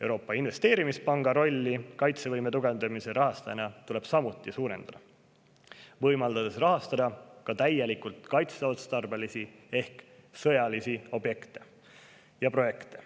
Euroopa Investeerimispanga rolli kaitsevõime tugevdamise rahastajana tuleb samuti suurendada, võimaldades sel rahastada ka täielikult kaitseotstarbelisi ehk sõjalisi objekte ja projekte.